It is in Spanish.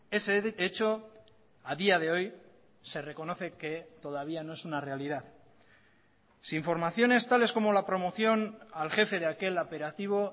ese hecho a día de hoy se reconoce que todavía no es una realidad si informaciones tales como la promoción al jefe de aquel operativo